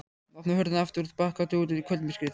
Hann opnar hurðina aftur og bakkar út í kvöldmyrkrið.